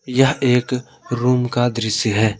यह एक रूम का दृश्य है।